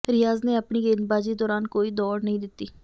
ਰਿਆਜ਼ ਨੇ ਆਪਣੀ ਗੇਂਦਬਾਜੀ ਦੌਰਾਨ ਕੋਈ ਦੌੜ ਨਹੀਂ ਦਿੱਤੀ